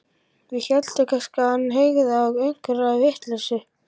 Við héldum kannski að hann hygði á einhverja vitleysu.